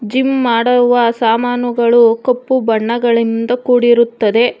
Gym ಮಾಡುವ ಸಾಮಾನುಗಳು ಕಪ್ಪು ಬಣ್ಣಗಳಿಂದ ಕೂಡಿರುತ್ತದೆ.